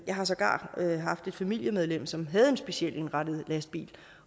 jeg har sågar haft et familiemedlem som havde en specialindrettet lastbil